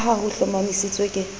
ka ha ho hlomamisitswe ke